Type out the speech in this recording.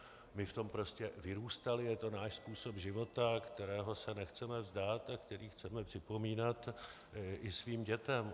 My v tom prostě vyrůstali, je to náš způsob života, kterého se nechceme vzdát a který chceme připomínat i svým dětem.